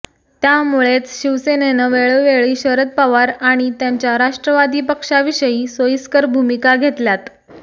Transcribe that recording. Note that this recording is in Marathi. त्यामुळेच शिवसेनेनं वेळोवेळी शरद पवार आणि त्यांच्या राष्ट्रवादी पक्षाविषयी सोयीस्कर भूमिका घेतल्यात